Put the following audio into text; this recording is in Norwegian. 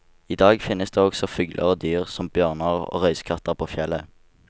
I dag finnes det også fugler og dyr som bjørner og røyskatter på fjellet.